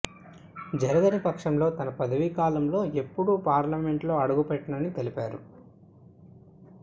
జరగని పక్షంలో తన పదవీకాలంలో ఎప్పుడూ పార్లమెంట్ లో అడుగుపెట్టనని తెలిపారు